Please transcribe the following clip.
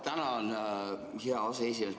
Tänan, hea aseesimees!